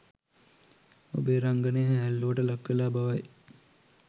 ඔබේ රංගනය හෑල්ලූවට ලක්වෙලා බවයි